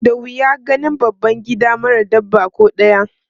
Da wuya ganin babban gida mara dabba ko ɗaya.